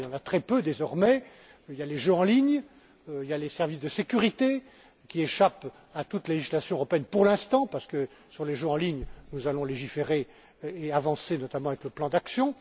D'ailleurs, il y en a très peu désormais il y a les jeux en ligne, il y a les services de sécurité qui échappent à toute législation européenne, pour l'instant, parce que, sur les jeux en ligne, nous allons légiférer et avancer notamment avec le plan d'action.